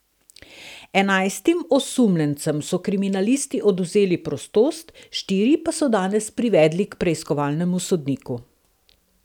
Enajstim osumljencem so kriminalisti odvzeli prostost, štiri pa so danes privedli k preiskovalnemu sodniku.